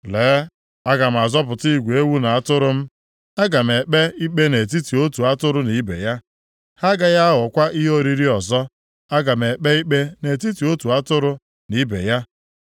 Lee, aga m azọpụta igwe ewu na atụrụ m. Aga m ekpe ikpe nʼetiti otu atụrụ na ibe ya. Ha agaghị aghọkwa ihe oriri ọzọ. Aga m ekpe ikpe nʼetiti otu atụrụ na ibe ya.